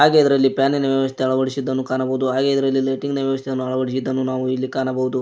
ಹಾಗೆ ಇದರಲ್ಲಿ ಫ್ಯಾನಿನ ವ್ಯವಸ್ಥೆ ಅಳವಡಿಸಿದ್ದನ್ನು ಕಾಣಬಹುದು ಹಾಗೆ ಇದರಲ್ಲಿ ಲೈಟಿಂಗ್ ನ ವ್ಯವಸ್ಥೆಯನ್ನು ಅಳವಡಿಸಿದ್ದನ್ನು ನಾವು ಇಲ್ಲಿ ಕಾಣಬೋದು.